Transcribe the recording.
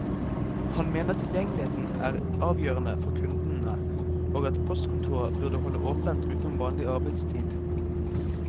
Han mener tilgjengeligheten er avgjørende for kundene, og at postkontorer burde holde åpent utenom vanlig arbeidstid.